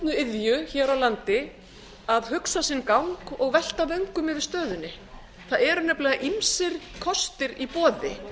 vanmetnu iðju hér á landi að hugsa sinn gang og velta vöngum yfir stöðunni það eru nefnilega ýmsir kostir í boði